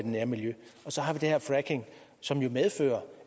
nærmiljø og så har vi det her fracking som jo medfører